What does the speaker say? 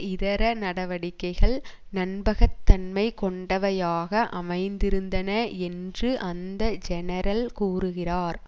இதர நடவடிக்கைகள் நம்பகத்தன்மை கொண்டவையாக அமைந்திருந்தன என்று அந்த ஜெனரல் கூறுகிறார்